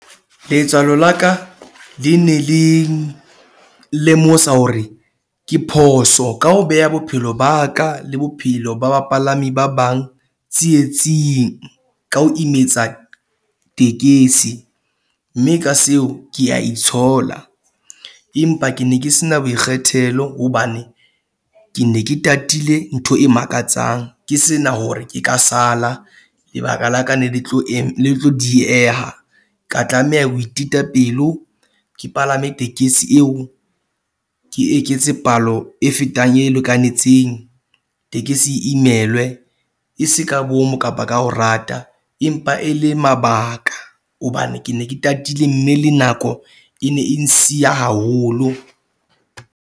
Letswalo la ka le ne le lemosa hore ke phoso ka ho beha bophelo ba ka le bophelo ba bapalami ba bang tsietsing, ka ho imetsa tekesi. Mme ka seo ke a itshola empa ke ne ke se na boikgethelo hobane ke ne ke tatile ntho e makatsang. Ke sena hore ke ka sala lebaka la ka ne le tlo ne le tlo dieha. Ka tlameha ke ho itita pelo ke palame tekesi eo, ke eketse palo e fetang e lekanetseng. Tekesi e imelwe, e se ka bomo kapa ka ho rata empa e le mabaka. Hobane ke ne ke tatile mme le nako e ne e nsiya haholo.